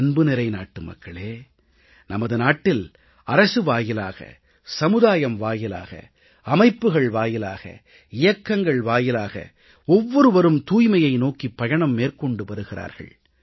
அன்புநிறை நாட்டுமக்களே நமது நாட்டில் அரசு வாயிலாக சமுதாயம் வாயிலாக அமைப்புகள் வாயிலாக இயக்கங்கள் வாயிலாக ஒவ்வொருவரும் தூய்மையை நோக்கிப் பயணம் மேற்கொண்டு வருகிறார்கள்